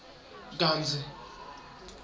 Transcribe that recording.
kantsi